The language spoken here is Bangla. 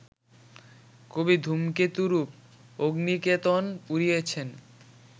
কবি ধূমকেতুরূপ অগ্নিকেতন উড়িয়েছেন